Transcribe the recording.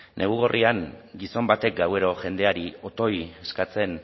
negu gorrian gizon batek gabero jendeari otoi eskatzen